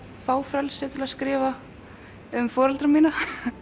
fá frelsi til að skrifa um foreldra mína